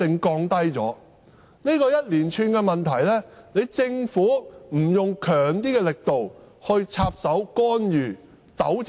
對於這一連串的問題，政府不得不採取較強的力度來插手干預和糾正。